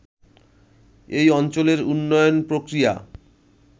এই অঞ্চলের উন্নয়ন প্রক্রিয়া